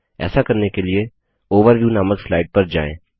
ऐसा करने के लिए ओवरव्यू नामक स्लाइड पर जाएँ